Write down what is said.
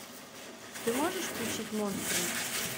ты можешь включить монструм